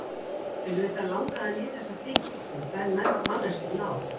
Auðvitað langaði hann í þessa dýpt sem tvær manneskjur ná.